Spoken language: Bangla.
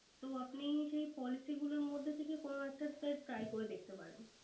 তো আপনি সেই Policy গুলোর মধ্যে থেকে কোন একটা Sir try করে দেখতে পারেন।